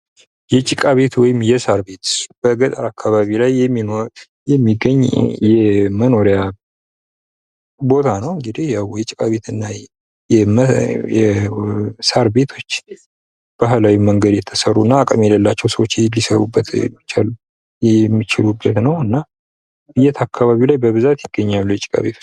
ጭቃ ቤት ወይም የሳር ቤት በገጠር አካባቢ ላይ የሚኖር የሚገኝ የመኖሪያ ቤት ነው እንጂ የጭቃ ቤት የሳር ቤቶች ባህላዊ መንገድ የተሠሩና አቅም የሌላቸው ሰዎች ሊሰሩበት ይችላሉ የሚችሉበት ነውና የት አካባቢ ላይ በብዛት ይገኛሉ በብዛት የጭቃ ቤት